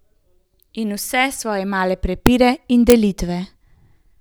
In v svoje male prepire in delitve.